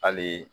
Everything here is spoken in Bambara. Hali